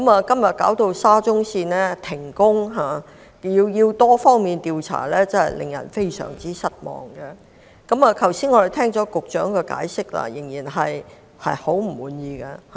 今天沙中線須停工及進行多方面調查，真的令人感到非常失望，而我們剛才聽到局長的解釋仍然令人很不滿意。